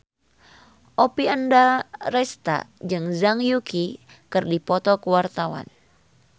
Oppie Andaresta jeung Zhang Yuqi keur dipoto ku wartawan